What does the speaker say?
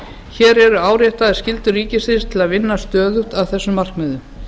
hér eru áréttaðar skyldur ríkisins til að vinna stöðugt að þessum markmiðum